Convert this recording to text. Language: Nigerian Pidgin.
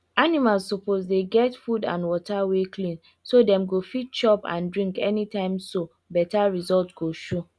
animals suppose dey get food and water wey clean so dem go fit chop and drink anytimeso better result go show